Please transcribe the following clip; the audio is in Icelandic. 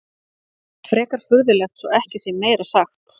Frekar furðulegt svo ekki sé meira sagt.